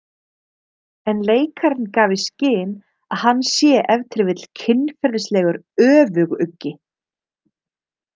En leikarinn gaf í skyn að hann sé ef til vill kynferðislegur öfuguggi.